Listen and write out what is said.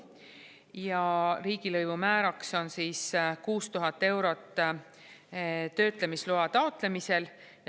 siis riigilõivumääraks on 6000 eurot töötlemisloa taotlemisel.